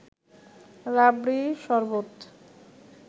রাবড়ি, শরবত